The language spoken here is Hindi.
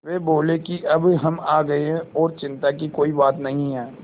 वे बोले कि अब हम आ गए हैं और चिन्ता की कोई बात नहीं है